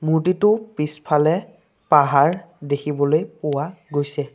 মূৰ্ত্তিটো পিছফালে পাহাৰ দেখিবলৈ পোৱা গৈছে।